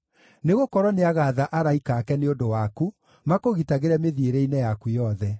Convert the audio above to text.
Nĩgũkorwo nĩagaatha araika ake nĩ ũndũ waku, makũgitagĩre mĩthiĩre-inĩ yaku yothe;